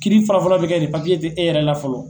Kiiri fɔlɔ fɔlɔ bɛ kɛ ni tɛ e yɛrɛ la fɔlɔ.